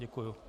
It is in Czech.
Děkuji.